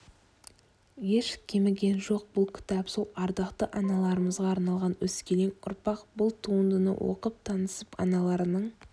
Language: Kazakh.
еш кеміген жоқ бұл кітап сол ардақты аналарымызға арналған өскелең ұрпақ бұл туындыны оқып-танысып аналарының